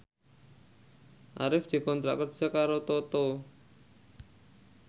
Arif dikontrak kerja karo Toto